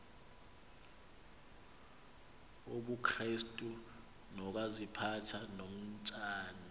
wobukrestu nokaziphatha komtshati